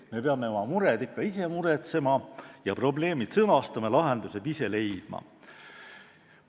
Me peame oma mured ikka ise muretsema ja probleemid sõnastama, lahendused ise leidma.